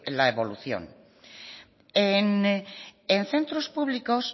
la evolución en centros públicos